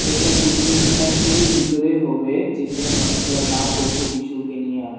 এটা কোন ফ্যাক্টরি এর ভিতরে হবে যেইখানে মানুষেরা কাম করছে কিছুকে নিয়া।